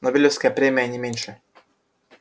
нобелевская премия не меньше